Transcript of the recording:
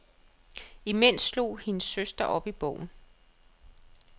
Imens slog hendes søster op i bogen.